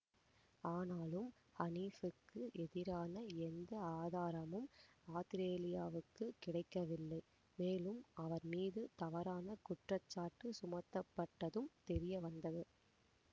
ஆனாலும் ஹனீப்புக்கு எதிரான எந்த ஆதாரமும் ஆத்திரேலியாவுக்குக் கிடைக்கவில்லை மேலும் அவர் மீது தவறான குற்றச்சாட்டு சுமத்தப்பட்டதும் தெரியவந்தது